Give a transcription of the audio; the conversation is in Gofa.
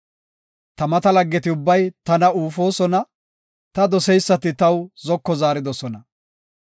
Ta mata laggeti ubbay tana uufosoona; ta doseysati taw zoko zaaridosona.